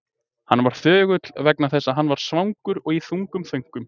Hann var þögull vegna þess að hann var svangur og í þungum þönkum.